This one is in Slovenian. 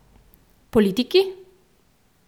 Politiki?